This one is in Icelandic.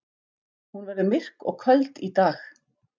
Hún verður myrk og köld í dag.